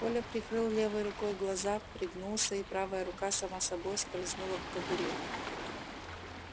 коля прикрыл левой рукой глаза пригнулся и правая рука сама собой скользнула к кобуре